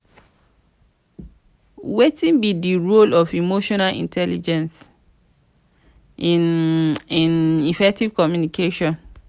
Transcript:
wetin be di role of emotional intelligence in in effective communication?